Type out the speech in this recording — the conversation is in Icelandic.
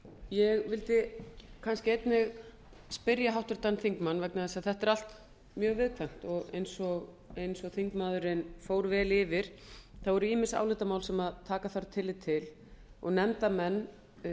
ég vildi kannski einnig spyrja háttvirtan þingmann vegna þess að þetta er allt mjög viðkvæmt eins og þingmaðurinn fór vel yfir eru ýmis álitamál sem taka þarf tillit til og nefndarmenn